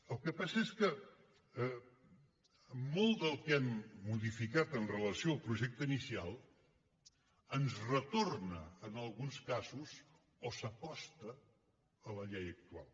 el que passa és que molt del que hem modificat amb relació al projecte inicial ens retorna en alguns casos o s’acosta a la llei actual